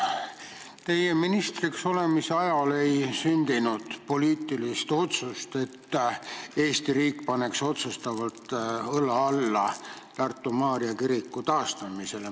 Teie ministriks olemise ajal ei ole sündinud poliitilist otsust, et Eesti riik paneks otsustavalt õla alla Tartu Maarja kiriku taastamisele.